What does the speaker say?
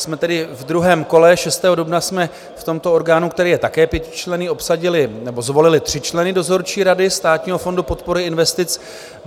Jsme tedy v druhém kole, 6. dubna jsme v tomto orgánu, který je také pětičlenný, obsadili nebo zvolili tři členy dozorčí rady Státního fondu podpory investic.